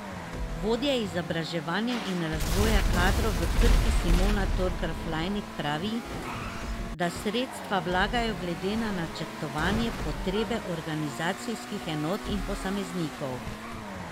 Vodja izobraževanja in razvoja kadrov v Krki Simona Torkar Flajnik pravi, da sredstva vlagajo glede na načrtovane potrebe organizacijskih enot in posameznikov.